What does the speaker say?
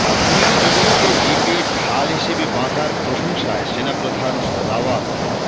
কাশ্মীরী যুবককে জিপে ঢাল হিসেবে বাঁধার প্রশংসায় সেনাপ্রধান রাওয়াত